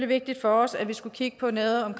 vigtigt for os at vi skulle kigge på noget om